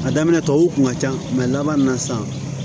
A daminɛ tɔw kun ka ca laban min na san